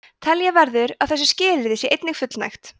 telja verður að þessu skilyrði sé einnig fullnægt